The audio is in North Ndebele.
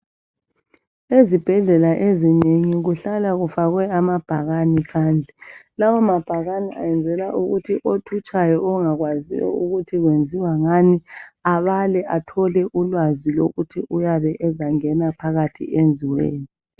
Ezibhedlela eziningi kuhlala kufakwe ama bhakani phandle. Lawo mabhakane ayenzelwa ukuthi othutshayo ongakwaziyo ukuthi kwenziwangani abale athole ulwazi lokuthi uyabe ezangena phakathi enziweni.